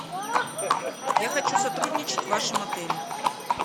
я хочу сотрудничать в вашем отеле